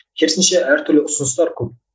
керісінше әртүрлі ұсыныстар көп